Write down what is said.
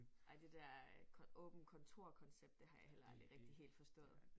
Ej det der øh åbent kontorkoncept det har jeg heller aldrig rigtig helt forstået